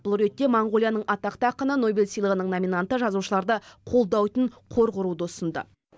бұл ретте моңғолияның атақты ақыны нобель сыйлығының номинанты жазушыларды қолдауйтын қор құруды ұсынды